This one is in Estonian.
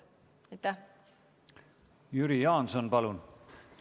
Jüri Jaanson, palun!